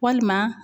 Walima